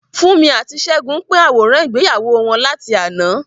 Funmi àti Segun pín àwòrán ìgbéyàwó wọn láti àná.